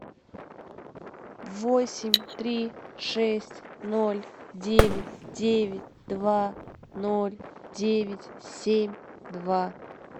восемь три шесть ноль девять девять два ноль девять семь два